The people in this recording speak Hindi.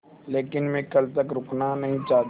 लेकिन मैं कल तक रुकना नहीं चाहता